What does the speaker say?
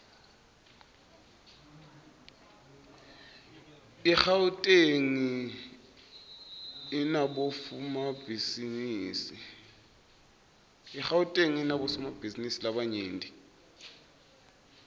igauteng inabofomabhizinisi labanyent